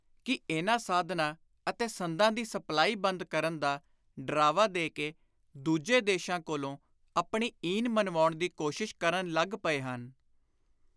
ਕਿ ਇਨ੍ਹਾਂ ਸਾਧਨਾਂ ਅਤੇ ਸੰਦਾਂ ਦੀ ਸਪਲਾਈ ਬੰਦ ਕਰਨ ਦਾ ਡਰਾਵਾ ਦੇ ਕੇ ਦੂਜੇ ਦੇਸ਼ਾਂ ਕੋਲੋਂ ਆਪਣੀ ਈਨ ਮੰਨਵਾਉਣ ਦੀ ਕੋਸ਼ਿਸ਼ ਕਰਨ ਲੱਗ ਪਏ ਹਨ।